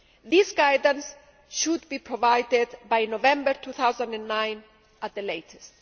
This guidance should be provided by November 2009 at the latest.